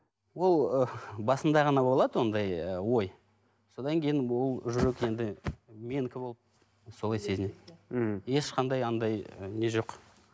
ол ы басында ғана болады ондай ы ой содан кейін ол уже енді менікі болып солай сезінеді мхм ешқандай андай ы не жоқ